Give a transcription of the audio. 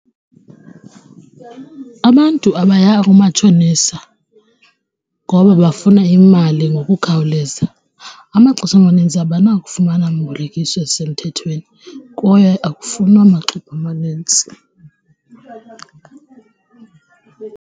Abantu abaya kumatshonisa ngoba bafuna imali ngokukhawuleza amaxesha amanintsi abanakufumana mbolekisi osemthethweni kwaye akufunwa wamaxwebhu amanintsi.